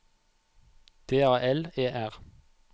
D A L E R